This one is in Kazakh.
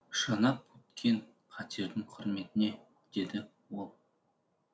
жанап өткен қатердің құрметіне деді ол